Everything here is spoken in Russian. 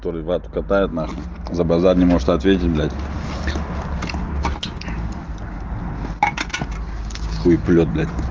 который вату катает нахуй за базар не может ответить блядь хуеплёт блядь